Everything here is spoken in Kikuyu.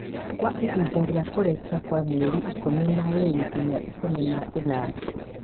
kwa ihinda rĩa kũrekia rĩa mĩeri ikũmi na ĩĩrĩ nginya ikũmi na ĩnana.